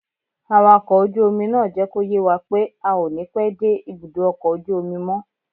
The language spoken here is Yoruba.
Awakọ̀ ojú omi náà jẹ́ kó yé wa pé a ò ní pẹ́ dé ibùdó ọkọ̀ ojú omi mọ́